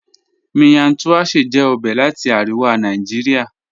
Miyan Tuashe jẹ ọbẹ̀ lati Aríwà Nàìjíríà.